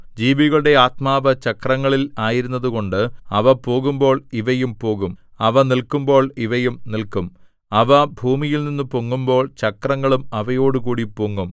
ജീവികളുടെ ആത്മാവ് ചക്രങ്ങളിൽ ആയിരുന്നതുകൊണ്ട് അവ പോകുമ്പോൾ ഇവയും പോകും അവ നില്ക്കുമ്പോൾ ഇവയും നില്ക്കും അവ ഭൂമിയിൽനിന്നു പൊങ്ങുമ്പോൾ ചക്രങ്ങളും അവയോടുകൂടി പൊങ്ങും